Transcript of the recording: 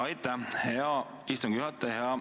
Aitäh, hea istungi juhataja!